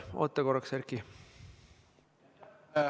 Oota korraks, Erki!